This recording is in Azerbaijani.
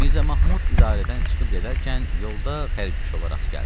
Mirza Mahmud idarədən çıxıb gedərkən yolda xərquşova rast gəldi.